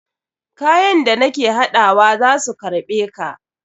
Kayan da nake haɗawa za su karɓe ka.